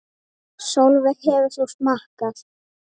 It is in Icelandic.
Sólveig: Hefur þú smakkað?